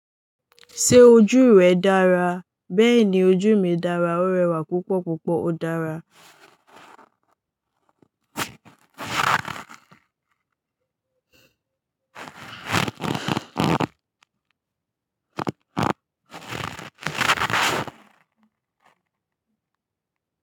Ṣé ojú rẹ dára? Bẹ́ẹ̀ni ojú mi dára. Ó rẹwà púpọ̀ púpọ̀. Ó dára.